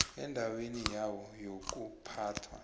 endaweni yayo yokuphathwa